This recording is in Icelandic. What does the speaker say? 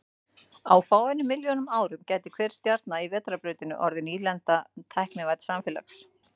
Á fáeinum milljónum árum gæti hver stjarna í Vetrarbrautinni orðið nýlenda tæknivædds samfélags.